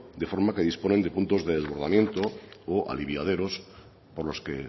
de forma que disponen de puntos de desbordamientos o aliviaderos por los que